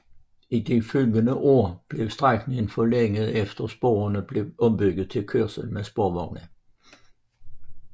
I de følgende år blev strækningen forlænget efter at sporene blev ombygget til kørsel med sporvogne